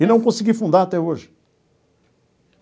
E não consegui fundar até hoje.